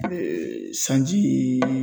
sanji.